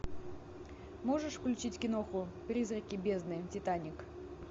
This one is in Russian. можешь включить киноху призраки бездны титаник